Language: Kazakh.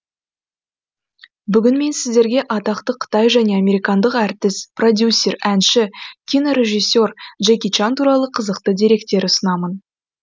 бүгін мен сіздерге атақты қытай және американдық әртіс продюсер әнші кинорежиссе р джеки чан туралы қызықты деректер ұсынамын